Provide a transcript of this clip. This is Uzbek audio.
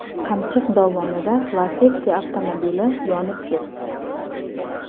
Qamchiq dovonida Lacetti avtomobili yonib ketdi.